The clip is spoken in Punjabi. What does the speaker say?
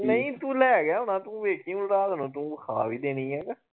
ਨੀ ਤੂੰ ਲੈ ਗਿਆ ਹੋਣਾ ਤੂੰ ਵੇਖੀ ਹੁਣ ਰਾਤ ਨੂੰ ਤੂੰ ਵਖਾ ਵੀ ਦੇਣੀ ਆ।